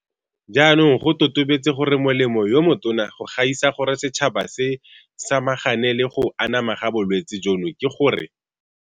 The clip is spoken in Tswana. Jaanong go totobetse gore molemo yo motona go gaisa gore setšhaba se samagane le go anama ga bolwetse jono ke gore.